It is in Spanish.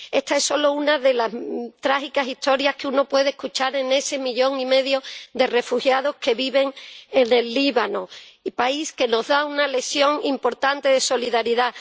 Esta es solo una de las trágicas historias que uno puede escuchar de ese millón y medio de refugiados que viven en el Líbano, país que nos da una lección importante de solidaridad.